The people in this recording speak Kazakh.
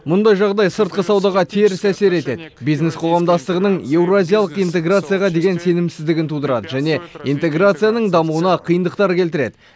мұндай жағдай сыртқы саудаға теріс әсер етеді бизнес қоғамдастығының еуразиялық интеграцияға деген сенімсіздігін тудырады және интеграцияның дамуына қиындықтар келтіреді